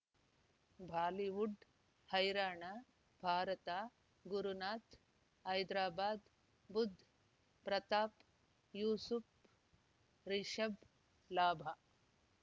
Bollywood ಹೈರಾಣ ಭಾರತ ಗುರುನಾಥ ಹೈದರಾಬಾದ್ ಬುಧ್ ಪ್ರತಾಪ್ ಯೂಸುಫ್ ರಿಷಬ್ ಲಾಭ